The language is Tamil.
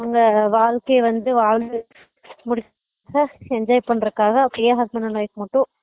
அவங்க வாழ்க்கையா வந்து வாழ்ந்து முடுச்சு enjoy பண்றதுக்காக அப்படியே husband and wife மட்டும்